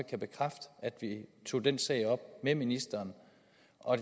vi tog den sag op med ministeren